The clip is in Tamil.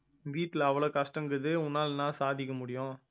வீட்டுல அவ்வளவு கஷ்டம் இருக்குது உன்னால என்ன சாதிக்க முடியும்